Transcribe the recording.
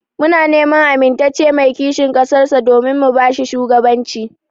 Muna neman amintacce mai kishin ƙasar sa domin mu bashi shugaban ci.